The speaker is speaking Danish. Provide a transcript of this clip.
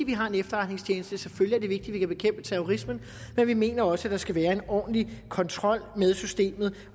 vi har en efterretningstjeneste selvfølgelig vi kan bekæmpe terrorismen men vi mener også at der skal være en ordentlig kontrol med systemet